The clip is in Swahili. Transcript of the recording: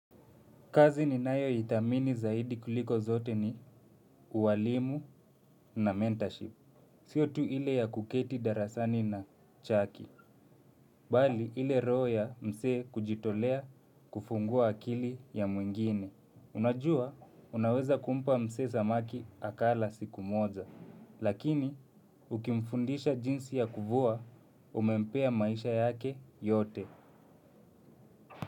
Kazi ninayoithamini zaidi kuliko zote ni ualimu na mentorship. Sio tu ile ya kuketi darasani na chaki. Bali ile roho ya msee kujitolea kufungua akili ya mwingine. Unajua, unaweza kumpa mse zamaki akala siku moza. Lakini, ukimfundisha jinsi ya kuvua, umempea maisha yake yote.